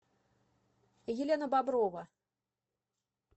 елена боброва